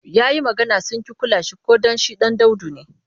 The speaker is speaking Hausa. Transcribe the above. Ya yi magana sun ƙi kula shi ko don shi ɗan daudu ne.